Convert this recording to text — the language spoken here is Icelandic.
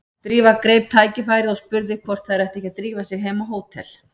Drífa greip tækifærið og spurði hvort þær ættu ekki að drífa sig heim á hótel.